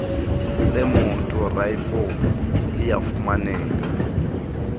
lemoto rlf liyafumaneka